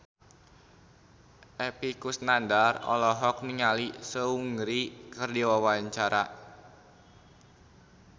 Epy Kusnandar olohok ningali Seungri keur diwawancara